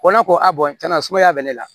Ko ne ko a sumaya bɛ ne la